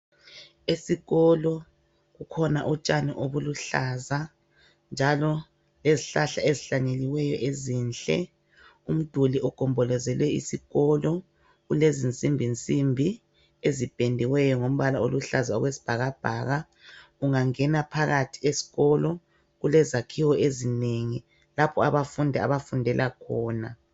Esikolo kukhona utshani obuluhlaza njalo lezihlahla ezihlanyeliweyo ezinhle. Umduli ogombolozele isikolo ulezinsimbinsimbi ezipendiweyo ngombala oluhlaza okwesibhakabhaka. Ungangena phakathi esikolo kulezakhiwo ezinengi lapho abafundi abafundela khona.